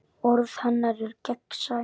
Orð hennar eru gegnsæ.